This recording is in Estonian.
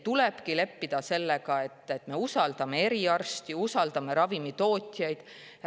Tulebki leppida sellega, et me usaldame eriarste, usaldame ravimitootjaid.